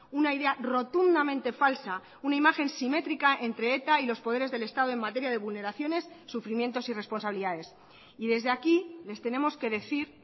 una idea rotundamente falsa una imagen simétrica entre eta y los poderes del estado en materia de vulneraciones sufrimientos y responsabilidades y desde aquí les tenemos que decir